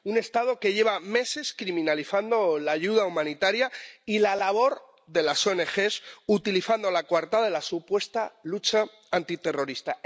Un Estado que lleva meses criminalizando la ayuda humanitaria y la labor de las ONG, utilizando la coartada de la supuesta lucha antiterrorista.